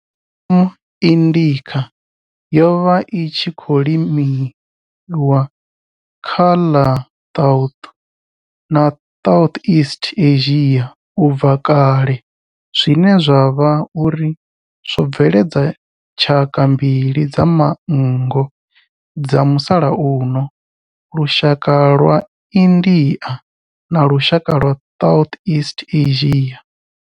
M. indica yo vha i tshi khou limiwa kha ḽa South na South east Asia ubva kale zwine zwa vha uri zwo bveledza tshaka mbili dza manngo dza musalauno lushaka lwa India na lushaka lwa south east Asia.